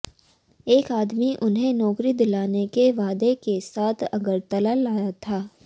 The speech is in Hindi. एक आदमी उन्हें नौकरी दिलाने के वादे के साथ अगरतला लाया था